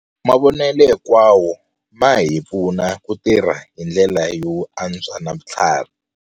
Mavonelo hinkwawo ma hi pfuna ku tirha hi ndlela yo antswa na vutlhari.